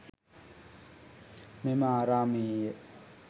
මෙම ආරාමයේ ය.